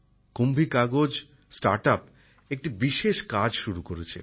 কুম্ভী কাগজ নতুন উদ্যোগ সংস্থাটি একটি বিশেষ কাজ শুরু করেছে